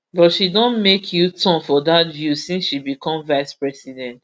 but she don make uturn for dat view since she become vicepresident